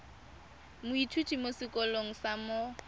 moithuti mo sekolong sa mo